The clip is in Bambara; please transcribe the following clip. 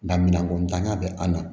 Nka minan kɔntanya bɛ an na